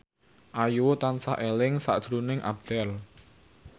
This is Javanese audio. Ayu tansah eling sakjroning Abdel